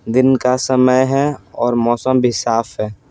दिन का समय है और मौसम भी साफ है।